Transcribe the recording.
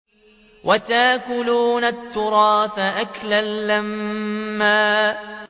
وَتَأْكُلُونَ التُّرَاثَ أَكْلًا لَّمًّا